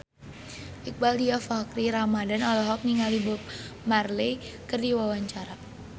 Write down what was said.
Iqbaal Dhiafakhri Ramadhan olohok ningali Bob Marley keur diwawancara